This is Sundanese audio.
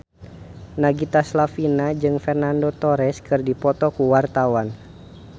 Nagita Slavina jeung Fernando Torres keur dipoto ku wartawan